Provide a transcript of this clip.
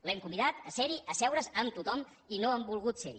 l’hem convidat a ser hi a asseure’s amb tothom i no ha volgut ser hi